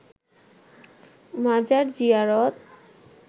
মাজার জিয়ারত